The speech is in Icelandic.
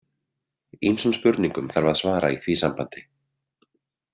Ýmsum spurningum þarf að svara í því sambandi.